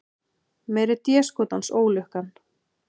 Meiri déskotans ólukkan.